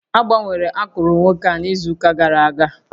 Agbanwere akụrụ nwoke a n'izu ụka gara aga